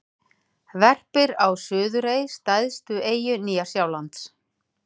Verpir á Suðurey, stærstu eyju Nýja-Sjálands.